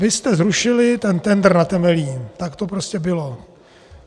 Vy jste zrušili ten tendr na Temelín, tak to prostě bylo!